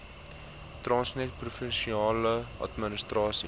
transnet provinsiale administrasies